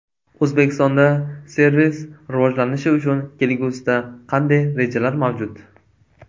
O‘zbekistonda servis rivojlanishi uchun kelgusida qanday rejalar mavjud?